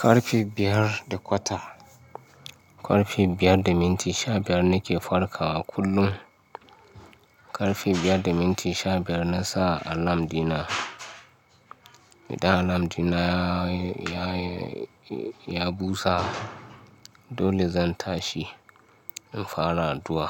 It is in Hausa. Karfe biyar da kwata, karfe biyar da minti sha biyar nake farkawa kullum. Karfe biyar da minti sha biyar na sa alarm dina. Idan alarm dina ya, ya, ya busa dole zan tashi in fara addu'a.